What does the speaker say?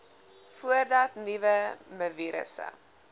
voordat nuwe mivirusse